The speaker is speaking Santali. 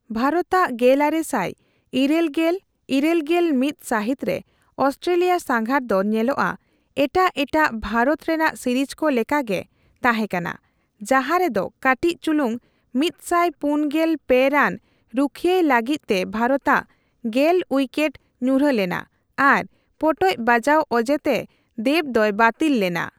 ᱵᱷᱟᱨᱚᱛᱟᱜ ᱜᱮᱞᱟᱨᱮᱥᱟᱭ ᱤᱴᱟᱹᱞᱜᱮᱞᱼᱤᱨᱟᱹᱞᱜᱮᱞ ᱢᱤᱛ ᱥᱟᱹᱦᱤᱛ ᱨᱮ ᱚᱥᱴᱨᱮᱞᱤᱭᱟ ᱥᱟᱸᱜᱷᱟᱨ ᱫᱚ ᱧᱮᱞᱚᱜᱼᱟ ᱮᱴᱟᱜ ᱮᱴᱟᱜ ᱵᱷᱟᱨᱚᱛ ᱨᱮᱱᱟᱜ ᱥᱤᱨᱤᱡ ᱠᱚ ᱞᱮᱠᱟ ᱜᱮ ᱛᱟᱦᱸᱮᱠᱟᱱᱟ, ᱡᱟᱸᱦᱟᱨᱮ ᱫᱚ ᱠᱟᱹᱴᱤᱪ ᱪᱩᱞᱩᱝ ᱢᱤᱛᱥᱟᱭ ᱯᱩᱱᱜᱮᱞ ᱯᱮ ᱨᱟᱱ ᱨᱩᱠᱷᱤᱭᱟᱹᱭ ᱞᱟᱹᱜᱤᱛ ᱛᱮ ᱵᱷᱟᱨᱚᱛᱟᱜᱺ ᱜᱮᱞ ᱩᱭᱠᱮᱴ ᱧᱩᱨᱦᱟᱹᱞᱮᱱᱟ ᱟᱨ ᱯᱚᱴᱚᱡ ᱵᱟᱡᱟᱣ ᱚᱡᱮᱛᱮ ᱛᱮ ᱫᱮᱵ ᱫᱚᱭ ᱵᱟᱛᱤᱞ ᱞᱮᱱᱟ ᱾